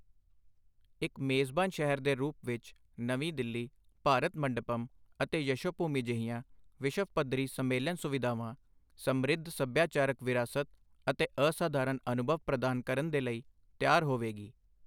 ਇੱਕ ਮੇਜ਼ਬਾਨ ਸ਼ਹਿਰ ਦੇ ਰੂਪ ਵਿੱਚ ਨਵੀਂ ਦਿੱਲੀ, ਭਾਰਤ ਮੰਡਪਮ ਅਤੇ ਯਸ਼ੋਭੂਮੀ ਜਿਹੀਆਂ ਵਿਸ਼ਵ ਪੱਧਰੀ ਸੰਮੇਲਨ ਸੁਵਿਧਾਵਾਂ, ਸਮ੍ਰਿੱਧ ਸਭਿਆਚਾਰਕ ਵਿਰਾਸਤ ਅਤੇ ਅਸਧਾਰਨ ਅਨੁਭਵ ਪ੍ਰਦਾਨ ਕਰਨ ਦੇ ਲਈ ਤਿਆਰ ਹੋਵੇਗੀ।